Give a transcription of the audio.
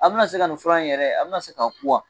A bina se ka nin fula in yɛrɛ a bina se ka ku wa ?